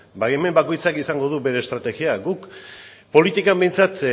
baimen bakoitzak izango du bere estrategia guk politikan behintzat